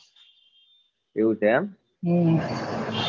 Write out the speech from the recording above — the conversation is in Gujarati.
એવું છે એમ હમ